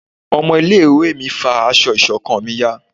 ọmọ ilé ìwé mi fá aṣọ ìṣọ̀kan mí yá